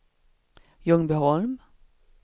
Ljungbyholm